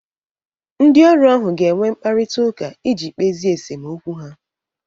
Ndị ọrụ ahụ ga-enwe mkparịtaụka iji kpezie esemokwu ha.